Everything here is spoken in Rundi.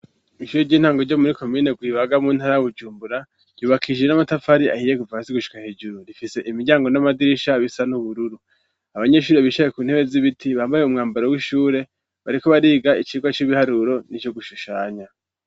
Ishuri ry'intango ryo muri komine Rwibaga mu ntara Bujumbura ryubakishije n'amatafari ahiye kuva hasi gushika hejuru, rifise imiryango n'amadirisha bisa n'ubururu, abanyeshuri bicaye ku ntebe z'ibiti bambaye umwambaro w'ishure bariko bariga icigwa c'ibiharuro n'ico gushushanya.